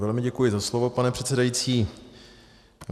Velmi děkuji za slovo, pane předsedající.